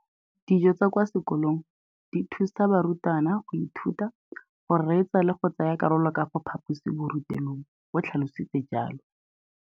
Dijo tsa kwa sekolong dithusa barutwana go ithuta, go reetsa le go tsaya karolo ka fa phaposiborutelong, o tlhalositse jalo.